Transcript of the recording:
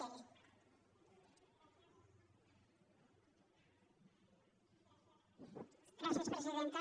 gràcies presidenta